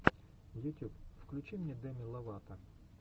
ютюб включи мне деми ловато